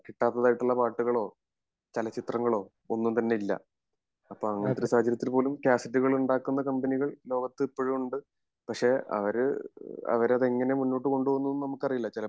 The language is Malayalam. കിട്ടാത്തതായിട്ടുള്ള പാട്ടുകളോ ചലച്ചിത്രങ്ങളോ ഒന്നും തന്നെ ഇല്ല അപ്പൊ അങ്ങിനെതൊരു സാഹചര്യത്തിൽ പോലും കാസറ്റുകൾ ഉണ്ടാകുന്ന കമ്പനി ലോകത്ത് ഇപ്പോളും ഉണ്ട് പക്ഷെ അവര് അവരത് എങ്ങിനെ മുന്നോട്ട് കൊണ്ടുപോകും എന്നൊന്നും നമുക്ക് അറിയില്ല